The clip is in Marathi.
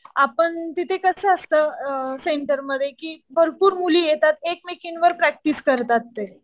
आपण तिथे कसं असतं सेंटरमध्ये कि भरपूर मुली येतात. एकमेकींवर प्रॅक्टिस करतात ते.